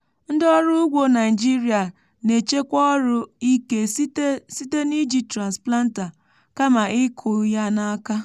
ndị ọrụ ugbo naịjirịa na-echekwa ọrụ ike site site n’iji transplanter kama ịkụ ya na aka. um